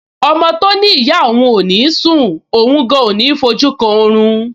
Ọmọ tó ní ìyá òun ò ní sùn, òun gan-an ò ní fojú kan orun